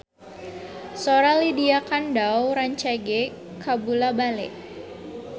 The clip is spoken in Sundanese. Sora Lydia Kandou rancage kabula-bale